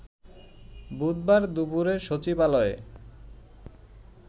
বুধবার দুপুরে সচিবালয়ে